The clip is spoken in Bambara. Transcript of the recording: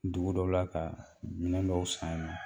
Dugu dɔ la ka minɛn dɔw san yen nɔ